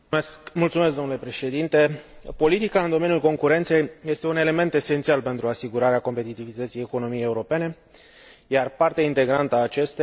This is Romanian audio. Politica în domeniul concurenței este un element esențial pentru asigurarea competitivității economiei europene, iar parte integrantă a acesteia este controlul ajutorului de stat.